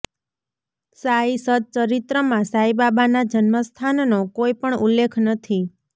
સાંઈ સત ચરિત્રમાં સાઈબાબાના જન્મ સ્થાનનો કોઈપણ ઉલ્લેખ નથી